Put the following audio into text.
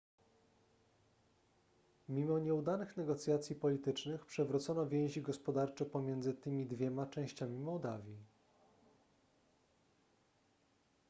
mimo nieudanych negocjacji politycznych przywrócono więzi gospodarcze pomiędzy tymi dwiema częściami mołdawii